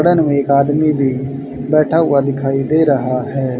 उड़न में एक आदमी भी बैठा हुआ दिखाई दे रहा है।